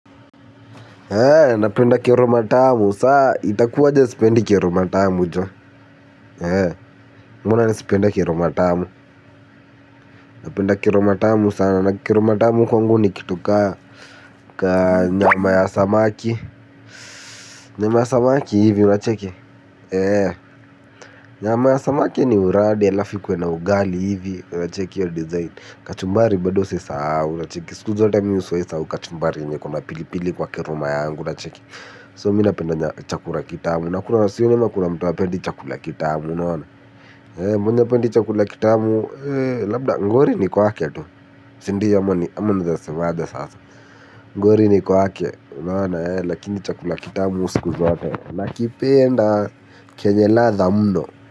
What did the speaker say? Napenda kiroma tamu saa itakuwa jesipendi kiroma tamu joe hee mwana nesipenda kiroma tamu napenda kiroma tamu sana kiroma tamu kwangu nikituka kaa nyama ya samaki nyama ya samaki hivi unacheki nyama ya samaki ni uradi ya lafi kwena ugali hivi unacheke yo design kachumbari badose saa unacheke siku zote miuswae saa kachumbari nye kuna pilipili kwa kiroma yangu unacheke So minapendanya chakula kitamu. Nakuna siyo nima kuna mtoa pendi chakula kitamu. Mwenye pendi chakula kitamu, labda ngori ni kwa ke tu. Sindiyo ya mani, ama na zase wadja sasa. Ngori ni kwa ke, nana, lakini chakula kitamu usiku zote. Nakipenda kenyela za mdo.